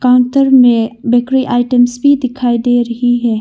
Counter में bakery items भी दिखाई दे रही है।